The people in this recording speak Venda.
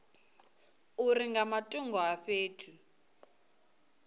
uri nga matungo a fhethu